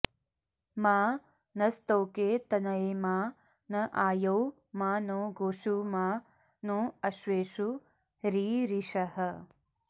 मा नस्तोके तनये मा न आयौ मा नो गोषु मा नो अश्वेषु रीरिषः